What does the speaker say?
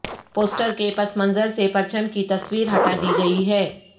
poster کے پس منظر سے پرچم کی تصویر ہٹا دی گئی ہے